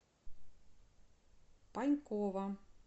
панькова